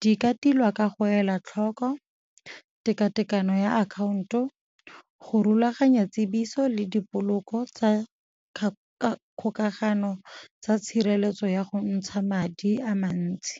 Di ka tilwa ka go ela tlhoko tekatekano ya akhaonto, go rulaganya tsebiso le dipoloko tsa kgokagano tsa tshireletso ya go ntsha madi a mantsi.